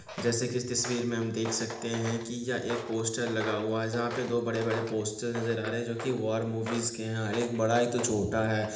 जैसे कि इस तस्वीर में हम देख सकते है कि यह एक पोस्टर लगा हुआ है जहां पे दो बड़े-बड़े पोस्टर नजर आ रहे है जो कि वॉर मूवीज के है और एक बड़ा तो एक छोटा है।